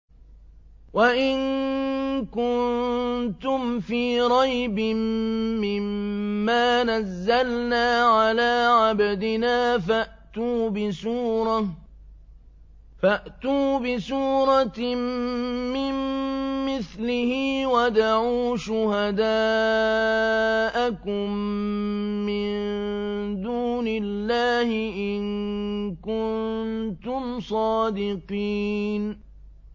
وَإِن كُنتُمْ فِي رَيْبٍ مِّمَّا نَزَّلْنَا عَلَىٰ عَبْدِنَا فَأْتُوا بِسُورَةٍ مِّن مِّثْلِهِ وَادْعُوا شُهَدَاءَكُم مِّن دُونِ اللَّهِ إِن كُنتُمْ صَادِقِينَ